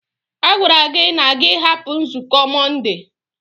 A gwara gị na gị hapụ nzukọ Mọnde.